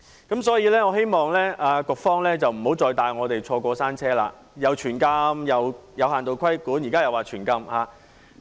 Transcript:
因此，我希望局方不要再帶我們"坐過山車"，又說"全禁"、又說"有限度規管"，現時又再說"全禁"。